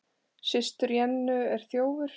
Systir Jennu er þjófur.